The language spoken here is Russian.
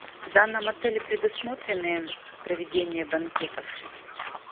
в данном отеле предусмотрены проведение банкетов